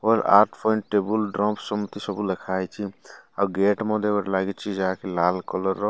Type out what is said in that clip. ଅର ଆଟ point table ଡ୍ରମ୍ପସ ସେମିତି ସବୁ ଲେଖାହେଇଚି ଆଉ ଗେଟ ମଧ୍ୟ ଗୋଟେ ଲାଗିଚି ଯାହାକି ଲାଲ କଲର ର।